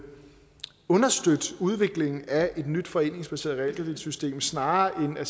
understøtte udviklingen af et nyt foreningsbaseret realkreditsystem snarere